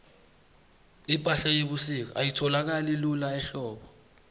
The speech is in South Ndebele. ipahla yebusika ayitholakali lula ehlobo